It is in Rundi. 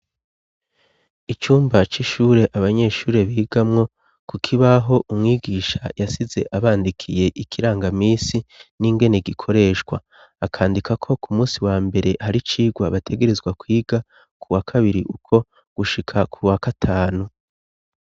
Icumba c' ishure abanyeshuri bigamwo, ku kibaho umwigisha yasize abandikiye ikirangamisi n'ingeni gikoreshwa. Akandika ko, ku munsi wa mbere hari icigwa bategerezwa kwiga, kuwa kabiri uko, gushika kuwa gatanu.